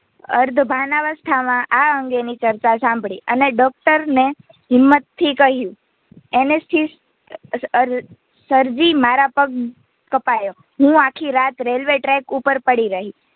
અર્ધભાનાવસ્થામાં આ અંગેની ચર્ચા સાંભળી અને ડોક્ટરને હિંમત થી કહ્યું Anesthesia અર સરજી મારો પગ કપાયો હું આખી રાત RailwayTrack ઉપર પડી રહી.